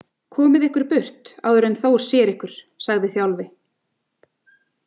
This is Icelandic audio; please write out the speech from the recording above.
Komið ykkur burt áður en Þór sér ykkur, sagði Þjálfi.